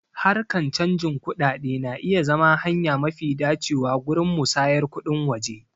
Harkan canjin kuɗaɗe na iya zama hanya mafi dacewa gurin musayar kuɗin waje.